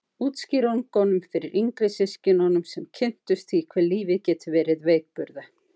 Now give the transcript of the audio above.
Útskýringunum fyrir yngri systkinunum sem kynntust því hve lífið getur verið veikburða.